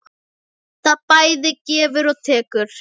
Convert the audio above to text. Það bæði gefur og tekur.